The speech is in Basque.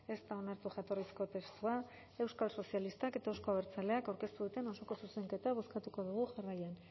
ez da onartu jatorrizko testua euskal sozialistak eta euzko abertzaleak aurkeztu duten osoko zuzenketa bozkatuko dugu jarraian